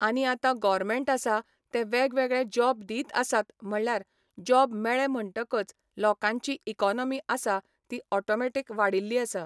आनी आतां गॉरमँट आसा ते वेगवेगळे जॉब दीत आसात म्हणल्यार जॉब मेळें म्हणटकच लोकांची इकॉनॉमी आसा ती ऑटोमॅटीक वाडिल्ली आसा.